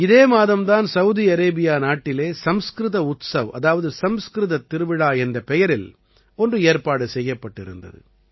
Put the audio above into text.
இதே மாதம் தான் சவுதி அரேபியா நாட்டிலே சம்ஸ்கிருத உத்ஸவ் அதாவது சம்ஸ்கிருத திருவிழா என்ற பெயரில் ஒன்று ஏற்பாடு செய்யப்பட்டிருந்தது